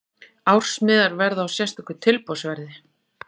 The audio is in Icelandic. Ársmiðar verða á sérstöku tilboðsverði.